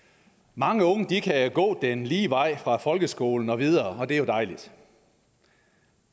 mange unge kan gå den lige vej fra folkeskolen og videre og det er jo dejligt